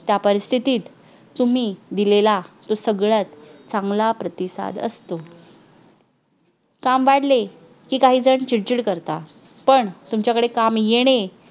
त्या परिस्थितीत तुम्ही दिलेला तो सगळ्यात चांगला प्रतिसाद असतो काम वांडेल काहीजण चिडचिड करतात पण तुमच्याकडे काम येणे